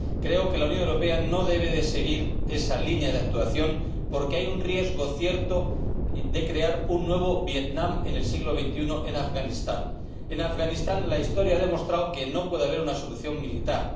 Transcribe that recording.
Creo que la Unión Europea no debe seguir esa línea de actuación, porque hay un riesgo cierto de crear un nuevo Vietnam en el siglo XXI en Afganistán. En Afganistán, la Historia ha demostrado que no puede haber una solución militar.